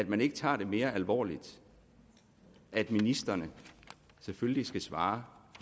man ikke tager det mere alvorligt at ministrene selvfølgelig skal svare